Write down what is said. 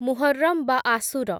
ମୁହର୍‌ରମ୍ ବା ଆଶୁର